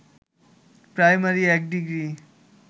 primary ১ degree